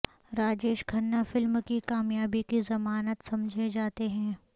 Rajesh Khanna film کی کامیابی کی ضمانت سمجھے جاتے تھے